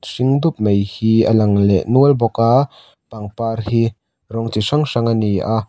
hring dup mai hi a lang leh nual bawk a pangpar hi rawng chi hrang hrang a ni a.